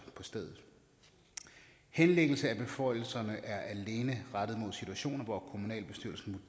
på stedet henlæggelsen af beføjelserne er alene rettet mod situationer hvor kommunalbestyrelsen